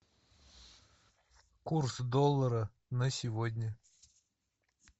курс доллара на сегодня